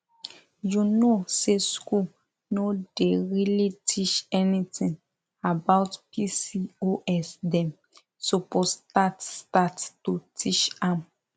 you know say school no dey really teach anything about pcosdem suppose start start to teach am